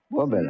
Bax belə.